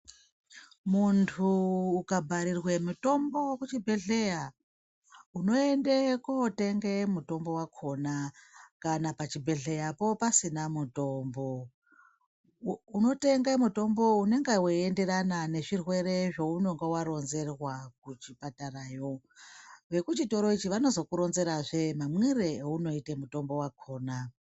Muntu unonga bharirwe mutombo kuchibhedhlera unoende kotenge mutombo wakhona kana kuchibhedhleyapo pasina mutombo unotenga mutombo unenge uchienderana nezvirwere zvaunenge waronzerwa kuchipatarayo vekuchitoro ichi vanozokuronzerazvee mamwire aunoite mutombo wakhona